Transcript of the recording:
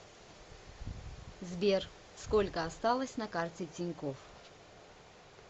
сбер сколько осталось на карте тинькофф